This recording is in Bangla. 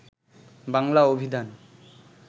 বাংলা অভিধান